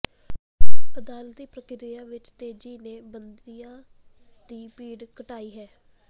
ਅਦਾਲਤੀ ਪ੍ਰਕਿਰਿਆ ਵਿੱਚ ਤੇਜ਼ੀ ਨੇ ਬੰਦੀਆਂ ਦੀ ਭੀੜ ਘਟਾਈ ਹੈ